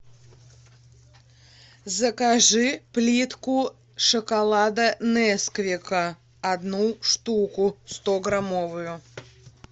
закажи плитку шоколада несквика одну штуку стограммовую